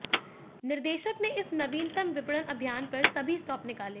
निर्देशक ने इस नवीनतम विपणन अभियान पर सभी स्टॉप निकाले